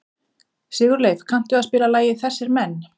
Sigurleif, kanntu að spila lagið „Þessir Menn“?